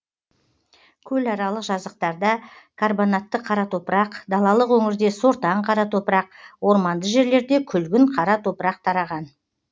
көларалық жазықтарда карбонатты қара топырақ далалық өңірде сортаң қара топырақ орманды жерлерде күлгін қара топырақ тараған